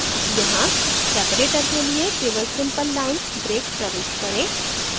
यहाँ separator के लिए केवल simple line break प्रविष्ट करें